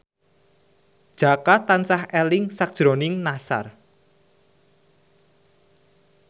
Jaka tansah eling sakjroning Nassar